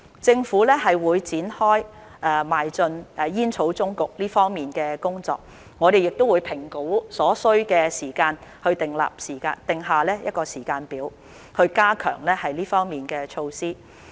政府會展開邁進煙草終局這方面的工作，我們會評估所需時間去訂下時間表，以加強這方面的措施。